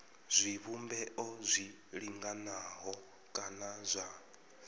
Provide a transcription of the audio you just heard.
zwivhumbeo zwi linganaho kana zwa